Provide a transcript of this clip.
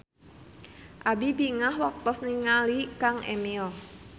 Abi bingah waktos ninggali Kang Emil